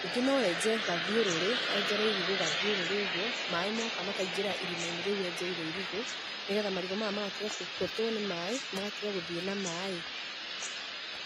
Ningĩ no enje gathiũrũrĩ, enjere marigũ gathiũrũrĩ ũguo, maĩ moka makaingĩra irima-inĩ rĩu enjeire irigũ nĩgetha marigũ maya magatiga kũhotwo nĩ maĩ magatiga gũthiĩ na maĩ.